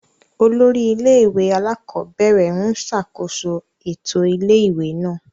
Olórí ilé-ìwé alákọ̀ọ́bẹ̀rẹ̀ ń ṣàkóso ètò ilé-ìwé náà.